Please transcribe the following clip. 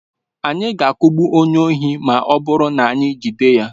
Anyị ga-akụgbu onye oshi ma ọ bụrụ na anyị ejide ya.